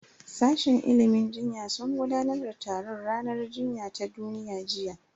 Sashen ilimin jinya sun gudanar da taron ranar jinya ta duniya jiya